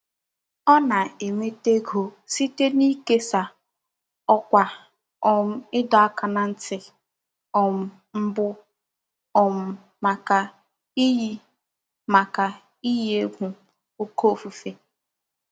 Ọ na-enweta ego site n'ikesa ọkwa um ịdọ aka ná ntị um mbụ um maka iyi maka iyi egwu oké ifufe.